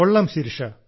കൊള്ളാം ശിരിഷ